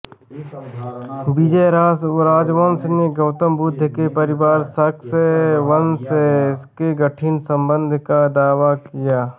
विजय राजवंश ने गौतम बुद्ध के परिवार शाक्य वंश से घनिष्ठ संबंध का दावा किया